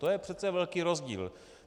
To je přece velký rozdíl.